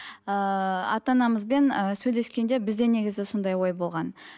ыыы ата анамызбен ы сөйлескен де бізде негізі сондай ой болған